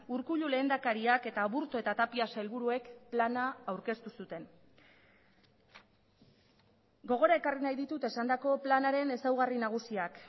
urkullu lehendakariak eta aburto eta tapia sailburuek plana aurkeztu zuten gogora ekarri nahi ditut esandako planaren ezaugarri nagusiak